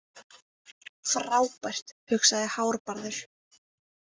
Frábært, hugsaði Hárbarður.